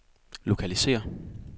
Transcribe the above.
lokalisér